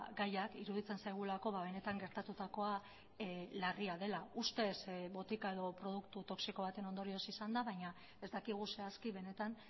gaiak iruditzen zaigulako benetan gertatutakoa larria dela ustez botika edo produktu toxiko baten ondorioz izan da baina ez dakigu zehazki benetan